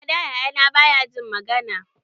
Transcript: Ada yaya na baya jin magana